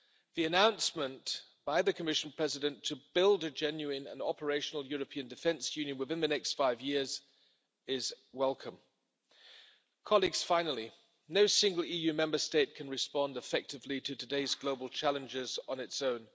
The announcement by the Commission President to build a genuine and operational European defence union within the next five years is welcome. Finally, no single EU Member State can respond effectively to today's global challenges on its own.